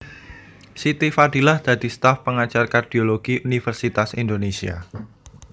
Siti Fadilah dadi staf pengajar kardiologi Universitas Indonésia